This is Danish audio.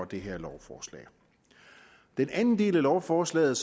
det her lovforslag den anden del af lovforslaget